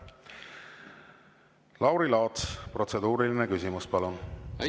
Lauri Laats, protseduuriline küsimus, palun!